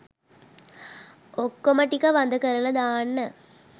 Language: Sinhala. ඔක්කොම ටික වඳ කරලා දාන්න